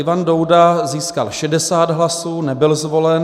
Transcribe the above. Ivan Douda získal 60 hlasů, nebyl zvolen.